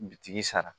Bitigi sara